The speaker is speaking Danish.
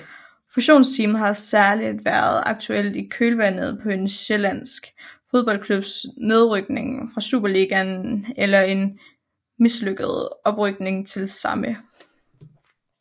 Fusionstemaet har særligt været aktuelt i kølvandet på en sjællandsk fodboldklubs nedrykning fra Superligaen eller en mislykket oprykning til samme